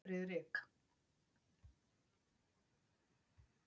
Friðrik